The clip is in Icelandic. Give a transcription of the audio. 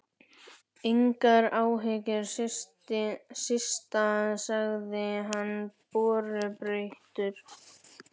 Engar áhyggjur, Systa sagði hann borubrattur.